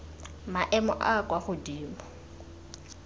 maemo a a kwa godimo